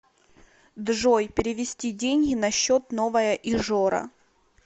джой перевести деньги на счет новая ижора